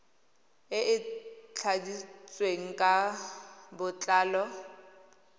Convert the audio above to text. e e tladitsweng ka botlalo